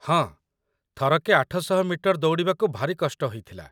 ହଁ, ଥରକେ ୮୦୦ ମିଟର ଦୌଡ଼ିବାକୁ ଭାରି କଷ୍ଟ ହେଇଥିଲା ।